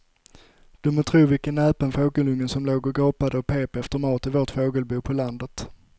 Du må tro vilken näpen fågelunge som låg och gapade och pep efter mat i vårt fågelbo på landet.